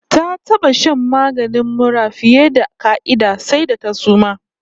Ta taba shan maganin mura fiye da ƙa'ida, sai da ta suma!